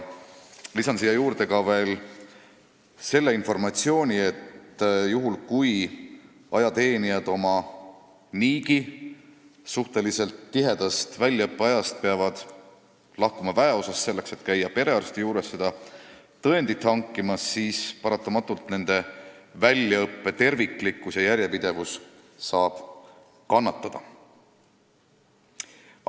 Lisan siia veel selle informatsiooni, et kui ajateenijad peavad oma suhteliselt tiheda väljaõppegraafiku juures lahkuma väeosast selleks, et minna perearsti juurde seda tõendit hankima, siis paratamatult nende väljaõppe terviklikkus ja järjepidevus saab kannatada.